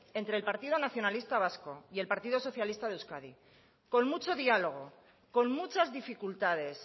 entre partido nacionalista vasco y el partido socialista de euskadi con mucho diálogo con muchas dificultades